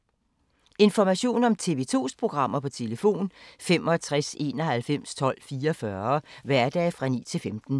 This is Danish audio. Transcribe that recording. Information om TV 2's programmer: 65 91 12 44, hverdage 9-15.